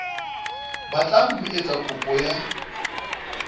batlang ho etsa kopo ya